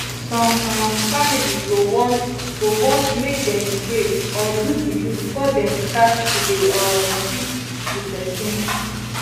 some um family go want go want make dem pray or do juju before dem start to dey um treat di pesin